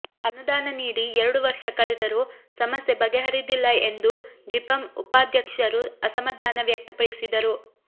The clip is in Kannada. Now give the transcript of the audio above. ಅನುದಾನ ನೀಡಿ ಎರಡು ವರ್ಷ ಕಳೆದರೂ ಸಮಸ್ಯೆ ಬಗೆಹರಿದಿಲ್ಲ ಎಂದು ಜಿಪಂ ಉಪಾಧ್ಯಕ್ಷರು ಅಸಮಾ ಧಾನ ವ್ಯಕ್ತಪಡಿಸಿದರು